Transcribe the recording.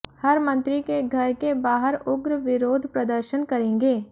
हर मंत्री के घर के बाहर उग्र विरोध प्रदर्शन करेंगे